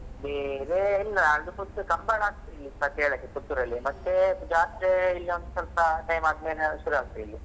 ಬೇರೆ ಇಲ್ಲ ಅದು ಸ್ವಲ್ಪ ಕಂಬಳ ಆಗ್ತದೆ ಈ ಇಪ್ಪತ್ತೇಳಕ್ಕೆ Puttur ಲ್ಲಿ ಮತ್ತೆ ಜಾತ್ರೆ ಇಲ್ಲಿಯೊಂದ್ ಸ್ವಲ್ಪ time ಆದ್ಮೇಲೆ ಶುರು ಆಗ್ತದೆ ಇಲ್ಲಿ.